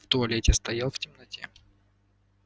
в туалете стоял в темноте